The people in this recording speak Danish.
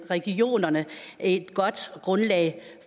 regionerne et godt grundlag